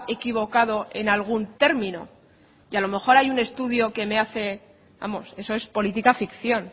equivocado en algún término y a lo mejor hay algún estudio que me hace vamos eso es política ficción